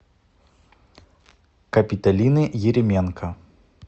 капиталины еременко